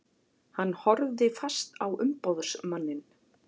Hann horfði fast á umboðsmanninn.